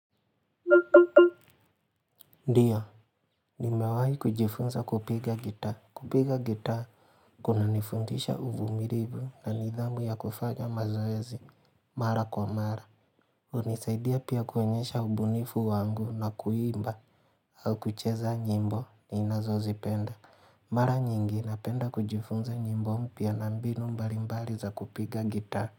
Ndiyo, nimewahi kujifunza kupiga gitaa. Kupiga gitaa, kunanifundisha uvumilivu na nidhamu ya kufanya mazoezi. Mara kwa mara. Hunisaidia pia kuonyesha ubunifu wangu na kuimba. Au kucheza nyimbo ninazozipenda. Mara nyingi, napenda kujifunza nyimbo mpya na mbinu mbalimbali za kupiga gitaa.